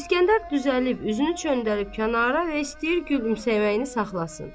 İsgəndər düzəlib üzünü çöndərib kənara və istəyir gülümsəməyini saxlasın.